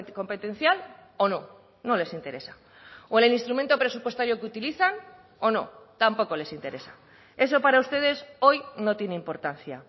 competencial o no no les interesa o en el instrumento presupuestario que utilizan o no tampoco les interesa eso para ustedes hoy no tiene importancia